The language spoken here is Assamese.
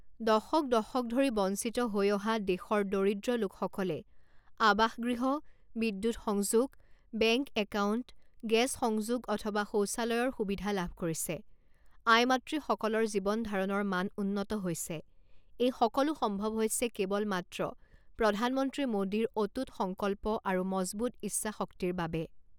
দশক দশক ধৰি বঞ্চিত হৈ অহা দেশৰ দৰিদ্ৰ লোকসকলে আৱাসগৃহ, বিদ্যুৎ সংযোগ, বেংক একাউণ্ট, গেছ সংযোগ অথবা শৌচালয়ৰ সুবিধা লাভ কৰিছে, আই মাতৃসকলৰ জীৱনধাৰণৰ মান উন্নত হৈছে, এই সকলো সম্ভৱ হৈছে কেৱল মাত্ৰ প্ৰধানমন্ত্ৰী মোদীৰ অটুট সংকল্প আৰু মজবুত ইচ্ছাশক্তিৰ বাবে